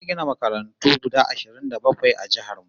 Za'a gina makarantu guda ashirin da bakwai a jihar mu